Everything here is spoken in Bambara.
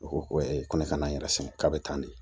U ko ko ko ne ka na n yɛrɛ sɛgɛn k'a bɛ taa ne